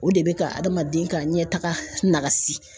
O de bɛ ka adamaden ka ɲɛtaga nakasi